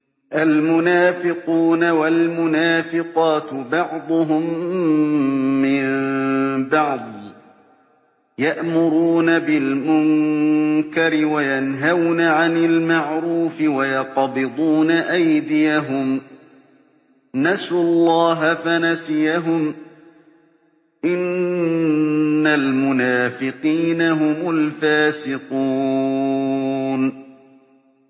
الْمُنَافِقُونَ وَالْمُنَافِقَاتُ بَعْضُهُم مِّن بَعْضٍ ۚ يَأْمُرُونَ بِالْمُنكَرِ وَيَنْهَوْنَ عَنِ الْمَعْرُوفِ وَيَقْبِضُونَ أَيْدِيَهُمْ ۚ نَسُوا اللَّهَ فَنَسِيَهُمْ ۗ إِنَّ الْمُنَافِقِينَ هُمُ الْفَاسِقُونَ